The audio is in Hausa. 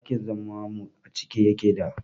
Dakin zaman mu acike yake da